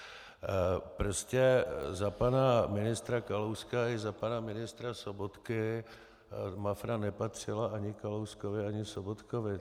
Prostě za pana ministra Kalouska i za pana ministra Sobotky Mafra nepatřila ani Kalouskovi ani Sobotkovi.